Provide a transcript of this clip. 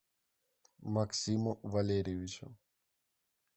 максиму валерьевичу